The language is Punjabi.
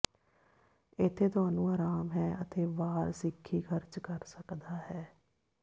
ਇੱਥੇ ਤੁਹਾਨੂੰ ਆਰਾਮ ਹੈ ਅਤੇ ਵਾਰ ਸਿੱਖੀ ਖਰਚ ਕਰ ਸਕਦਾ ਹੈ